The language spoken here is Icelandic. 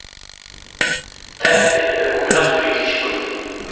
Teppin eru komin aftur í tísku